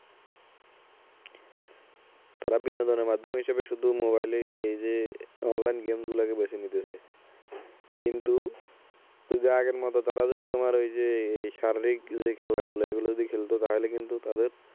তারা বিনোদনের মাধ্যম হিসেবে শুধু mobile এ এই যে online game গুলোকে বেছে নিতেছে কিন্তু যদি আগের মতো তারা যদি তোমার ওই যে এই শারীরিক যে খেলা গুলো এগুলো যদি খেলতো তাহলে কিন্তু তাদের